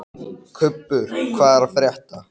Kubbur, hvað er að frétta?